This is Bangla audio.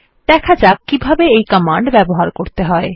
দেখা যাক কিভাবে এই কমান্ড ব্যবহার করতে হয়